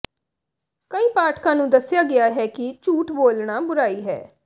ਕਈ ਪਾਠਕਾਂ ਨੂੰ ਦੱਸਿਆ ਗਿਆ ਹੈ ਕਿ ਝੂਠ ਬੋਲਣਾ ਬੁਰਾਈ ਹੈ